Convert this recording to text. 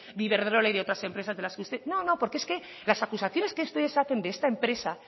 de iberdrola y de otras empresas de las que usted no no porque es que las acusaciones que ustedes hacen de esta empresa